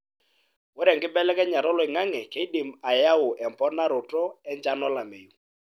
ore enkibelekenyata oloingange keidim ayau emponaroto enchan olameyu.